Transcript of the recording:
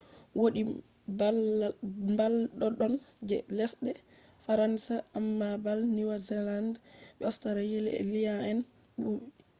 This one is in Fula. wodi mbal doddon je lesɗe faransa amma bal niwzealand be australia'en ɓuri